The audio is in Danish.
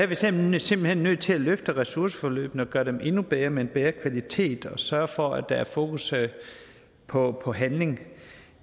vi simpelt hen nødt til at løfte ressourceforløbene og gøre dem endnu bedre med en bedre kvalitet og sørge for at der er fokus på på handling